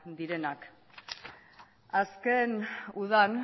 direnak azken udan